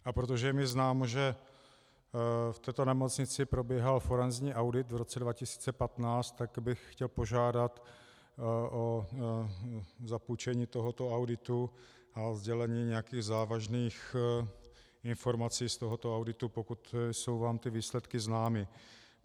A protože je mi známo, že v této nemocnici probíhal forenzní audit v roce 2015, tak bych chtěl požádat o zapůjčení tohoto auditu a o sdělení nějakých závažných informací z tohoto auditu, pokud jsou vám ty výsledky známy.